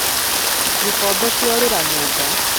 Gĩkombe kĩorĩra nyũmba